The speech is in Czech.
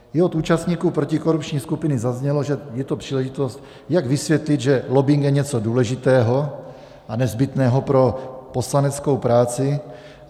I od účastníků protikorupční skupiny zaznělo, že je to příležitost, jak vysvětlit, že lobbing je něco důležitého a nezbytného pro poslaneckou práci.